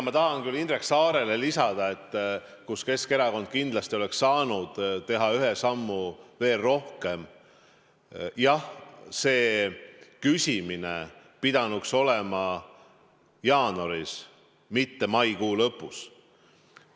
Ma tahan küll vahepeal Indrek Saarele veel lisada selle kohta, kus oleks Keskerakond kindlasti saanud teha ühe sammu rohkem: jah, see küsimine pidanuks olema jaanuaris, mitte maikuu lõpus.